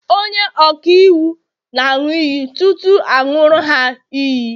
onye-ọka-iwu nāṅu iyi tutu aṅuri ha iyi